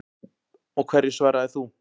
Og hverju svaraðir þú?